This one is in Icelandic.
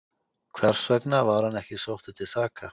Hversvegna var hann ekki sóttur til saka?